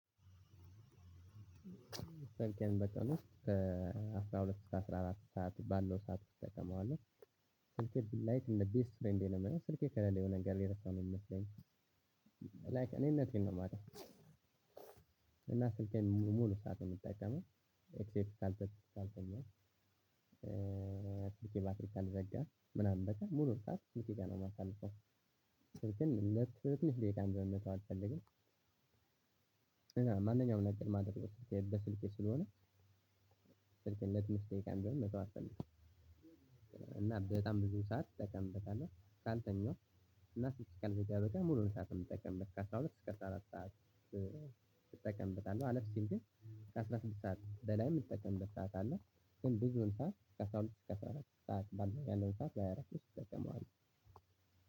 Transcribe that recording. ስልኬን በቀን ውስጥ ከአስራ ሁለት እስከ አስራ አራት ሰዓት ባለው ሰዓት እጠቀመዋለሁ። ስልኬ ላይክ እንደ ቤስት ፍሬንዴ ነው የማየው ስልኬ ከሌለ የሆነ ነገር የረሳው ነው የሚመስለኝ። ላይክ እኔነቴን ነው የማጣው። እና ስልኬን ሙሉ ሰዓት ነው የምጠቀመው ኤክሴፕት ካልተኛው ስልኬ ባትሪ ካልዘጋ ምናምን በቀር ሙሉውን ሰዓት ስልኬ ጋር ነው የማሳልፈው። ስልኬን ለትንሽ ደቂቃም ቢሆን መተው አልፈልግም። ማንኛውም ነገር ማደርገው በስልኬ ስለሆነ። ስልኬን ለትንሽ ደቂቃም ቢሆን መተው አልፈልግም። በጣም ብዙ ሰዓት እጠቀምበታለው ካልተኛው እና ስልኬ ካልዘጋ በቀር ሙሉውን ሰዓት ነው የምትጠቀምበት ከአስራ ሁለት እስከ አስራ አራት ሰዓት? እጠቀምበታለው አለፍ ሲል ግን ከአስራ ስድስት ሰዓት በላይ የምትጠቀምበት ሰዓት አለ። ግን ብዙውን ሰዓት ከአስራ ሁለት እስከ አስራ አራት ሰዓት ባለው ያለውን ሰዓት በሃያ አራት ውስጥ እጠቀመዋለው።